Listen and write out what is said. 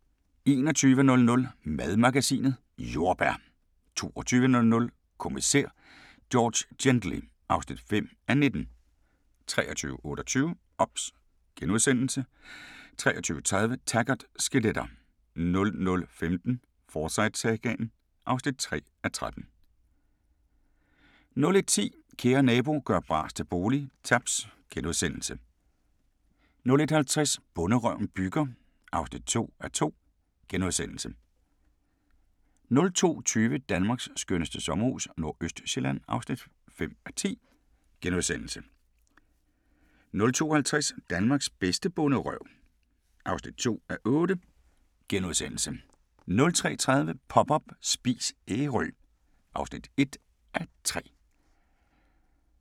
21:00: Madmagasinet: Jordbær 22:00: Kommissær George Gently (5:19) 23:28: OBS * 23:30: Taggart: Skeletter 00:15: Forsyte-sagaen (3:13) 01:10: Kære nabo – gør bras til bolig – Taps * 01:50: Bonderøven bygger (2:2)* 02:20: Danmarks skønneste sommerhus - Nordøstsjælland (5:10)* 02:50: Danmarks bedste bonderøv (2:8)* 03:30: Pop up – Spis Ærø (1:3)